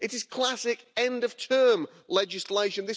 It is classic end of term legislation.